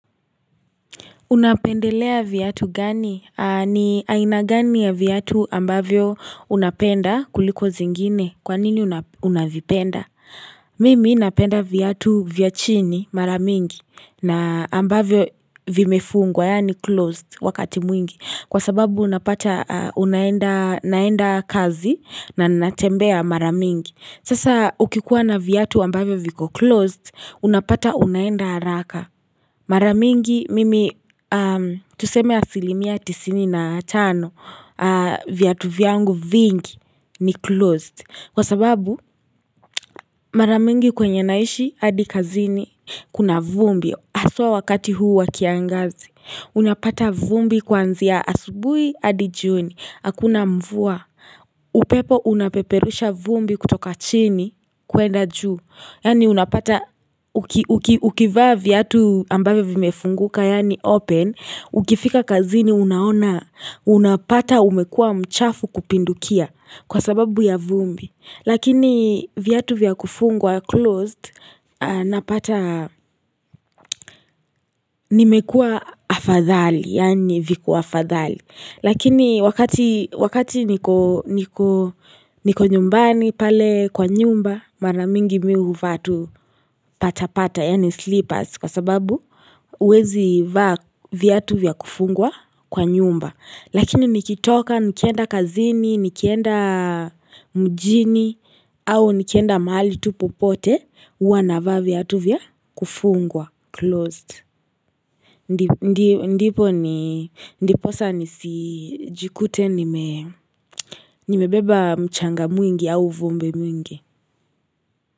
Unapendelea viatu gani? Ni aina gani ya viatu ambavyo unapenda kuliko zingine? Kwanini unavipenda? Mimi napenda viatu vya chini mara mingi na ambavyo vimefungwa yaani closed wakati mwingi. Kwa sababu unapata unaenda kazi na natembea mara mingi. Sasa ukikuwa na viatu ambavyo viko closed, unapata unaenda haraka. Mara mingi mimi tuseme asilimia tisini na tano Viatu vyangu vingi ni closed Kwa sababu mara mingi kwenye naishi hadi kazini Kuna vumbi haswa wakati huu wa kiangazi Unapata vumbi kuanzia asubuhi hadi jioni Hakuna mvua upepo unapeperusha vumbi kutoka chini kuenda juu Yaani unapata ukivaa viatu ambavyo vimefunguka yaani open Ukifika kazini unaona unapata umekuwa mchafu kupindukia kwa sababu ya vumbi Lakini viatu vya kufungwa closed napata nimekuwa afadhali yaani viko afadhali Lakini wakati niko nyumbani pale kwa nyumba mara mingi mimi huvaa tu pata pata yaani sleepers kwa sababu huwezi vaa viatu vya kufungwa kwa nyumba lakini nikitoka nikienda kazini nikienda mjini au nikienda mahali tupo pote huwa naava viatu vya kufungwa closed ndipo ni ndiposa nisi jikute nimebeba mchanga mwingi au vumbi mingi.